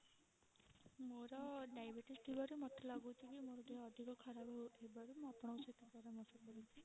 ମୋର diabetes ଥିବାରୁ ମତେ ଲାଗୁଛି କି ମୋର ଦେହ ଅଧିକ ଖରାପ ହୋଉଥିବାରୁ ମୁଁ ଆପଣଙ୍କ ସହିତ ପରାମର୍ଶ କରୁଛି